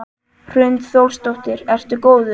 Hrund Þórsdóttir: Ertu góður?